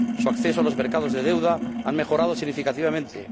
Su acceso a los mercados de deuda ha mejorado significativamente.